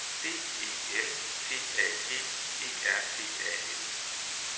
D E L T A G E R T A L